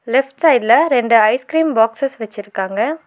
Left சைட்ல ரெண்டு ice cream boxes வெச்சிருக்காங்க.